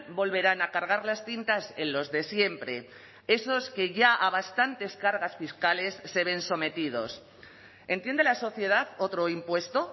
volverán a cargar las tintas en los de siempre esos que ya a bastantes cargas fiscales se ven sometidos entiende la sociedad otro impuesto